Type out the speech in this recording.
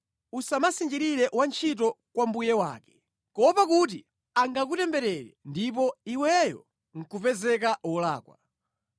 “Usamusinjirire wantchito kwa mbuye wake kuopa kuti angakutemberere ndipo iweyo nʼkupezeka wolakwa.”